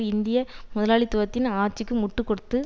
இந்திய முதலாளித்துவத்தின் ஆட்சிக்கு முட்டு கொடுத்து